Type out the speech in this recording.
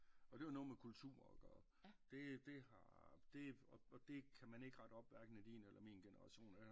Og det er jo noget med kultur at gøre det det har det og det kan man ikke rette op hverken i din eller min generation